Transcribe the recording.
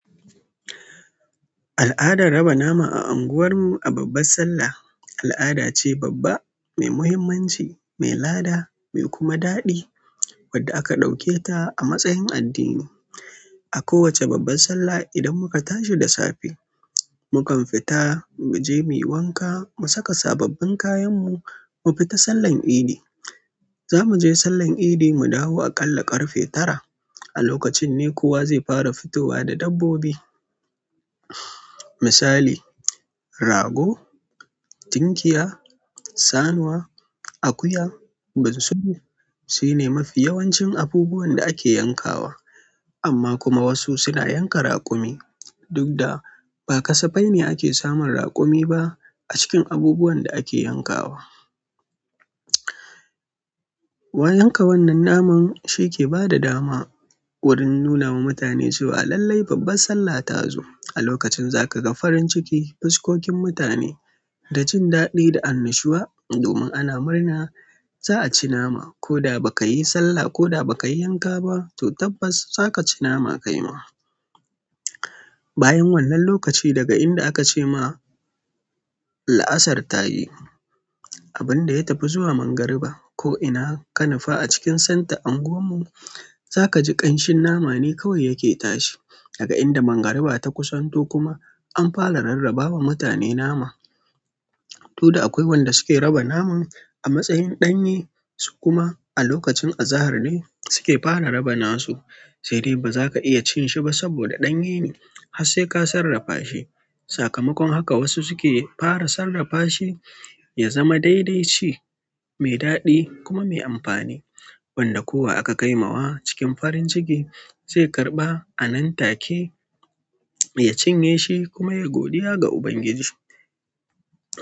Al'adar raba nama a unguwar mu a babbar Sallah, al'ada ce babba, mai muhimmanci, mai lada, mai kuma daɗi wadda aka ɗauke ta a matsayin addini. A kowacce babbar Sallah idan muka tashi da safe, mukan fita mu je muyi wanka, mu saka sababbin kayan mu, mu fita sallan idi. Za mu je sallan idi mu dawo a kalla ƙarfe tara. A lokacin ne kowa zai fara fitowa da dabbobi. Misali, rago, tinkiya, sanuwa, akuya, bunsuru. Shi ne mafi yawancin abubuwan da ake yankawa. Amma kuma wasu suna yanka raƙumi. Duk da ba kasafai ne ake samun raƙumi ba a cikin abubuwan da ake yankawa. Wai yanka wannan naman shi ke bada dama wurin nuna ma mutane cewa lallai babbar Sallah ta zo. A lokacin za ka ga farin ciki, fuskokin mutane da jin daɗi da annashuwa domin ana murna za'a ci nama. Ko da ba ka yi Sallah ko da ba ka yi yanka ba to tabbas za ka ci nama ka yi ma. Bayan wannan lokaci daga inda a ka ce ma la'asar ta yi, abin da ya tafi zuwa magariba ko ina kanufa a cikin santa unguwar mu za ka ji ƙanshin nama ne kawai yake tashi. Daga inda magariba ta kusanto kuma an fara rarraba ma mutane nama. To da akwai wanda suke raba naman a matsayin ɗanye su kuma a lokacin azahar ne suke fara raba nasu. Sai dai ba za ka iya cin shi ba saboda ɗanye ne har sai ka sarrafa shi. Sakamakon haka wasu su ke fara sarrafa shi ya zama daidaitce, mai daɗi kuma mai amfani wanda kowa aka kai ma wa cikin farin ciki zai karɓa a nan take ya cinye shi kuma ya godiya ga Ubangiji.